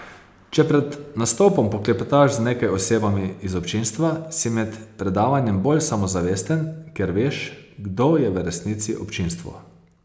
Če pred nastopom poklepetaš z nekaj osebami iz občinstva, si med predavanjem bolj samozavesten, ker veš, kdo je v resnici občinstvo.